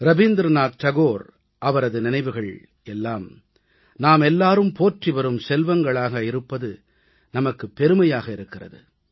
ரவீந்திரநாத் தாகூர் அவரது நினைவுகள் எல்லாம் நாமெல்லாரும் போற்றிவரும் செல்வங்களாக இருப்பது நமக்குப் பெருமையாக இருக்கிறது